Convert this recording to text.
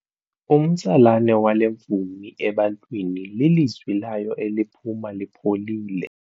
Umtsalane wale mvumi ebantwini lilizwi layo eliphuma lipholile.